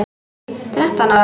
Þrettán ára?